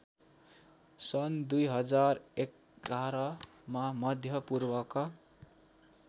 सन् २०११मा मध्यपूर्वका